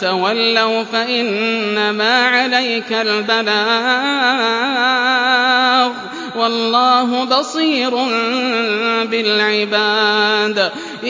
تَوَلَّوْا فَإِنَّمَا عَلَيْكَ الْبَلَاغُ ۗ وَاللَّهُ بَصِيرٌ بِالْعِبَادِ